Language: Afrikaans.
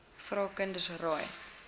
vra kinders raai